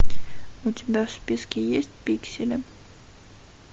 у тебя в списке есть пиксели